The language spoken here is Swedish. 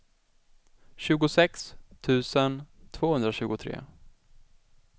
tjugosex tusen tvåhundratjugotre